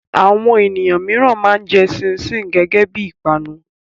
Àwọn ènìyàn mìíràn máa ń jẹ ṣíín-ṣiìn gẹ́gẹ́ bí i ìpanu.